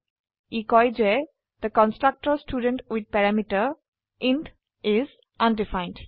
ই কয় যে the constructor student with parameter is undefined